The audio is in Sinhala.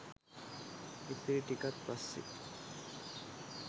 ඉතිරි ටිකත් පස්සේ